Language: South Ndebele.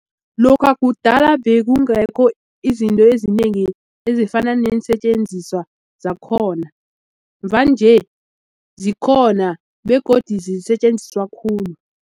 Lokha kudala bekungekho izinto ezinengi ezifana neensetjenziswa zakhona mvanje zikhona begodu zisetjenziswa khulu.